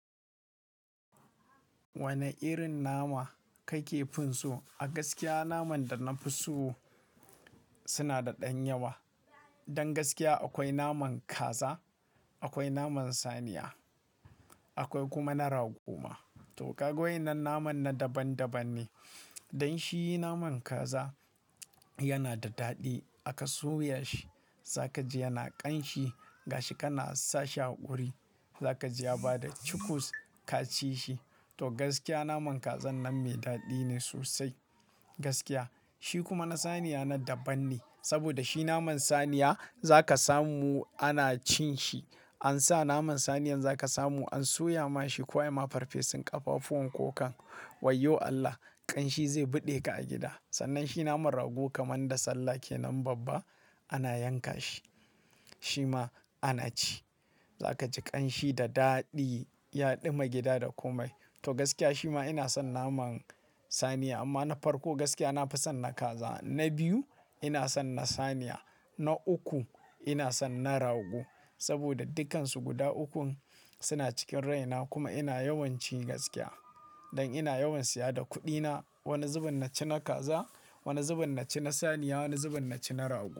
Wane irin nama kake finso? A gaskiya naman da na fi so suna da ɗan yawa. Don gaskiya akwai naman kaza, akwai naman saniya, akwai kuma na rago ma. To, ƙaga wayan nanan naman daban-daban ne. Don shi naman kaza yana da daɗi. Aka soya shi, za ka ji yana ƙanshi. Gashi kana sashi a wuri, za ka ji ya bada cikus ka ci shi. To, gaskiya naman Kazan nan mai daɗi ne sosai. Gaskiya. Shi kuma na saniya na daban ne. Saboda shi naman saniya za ka samu ana cin shi. An sa naman saniyan za ka samu an soya ma shi ko an yi ma farfesun ƙafafuwan ko kan. Wayyo Allah! Ƙanshi zai buɗe ka a gida. Sannan shi naman rago kamar da sallah ke nan babba ana yanka shi, shi ma ana ci. Za ka ji ƙanshi da daɗi, ya ɗuma gida da komai. To, gaskiya shi ma ina son naman saniya amma na farko gaskiya na fi son na kaza. Na biyu ina son na saniya. Na uku ina son na rago. Saboda dukansu guda ukun suna cikin raina kuma ina yawanci gaskiya, don ina yawanci ya da kuɗina wani zubin na ci na kaza, wani zubin na ci na saniya, wani zubin na ci na rago.